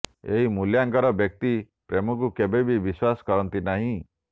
ଏହି ମୂଲ୍ୟାଙ୍କର ବ୍ୟକ୍ତି ପ୍ରେମକୁ କେବେବି ବିଶ୍ବାସ କରନ୍ତି ନାହିଁ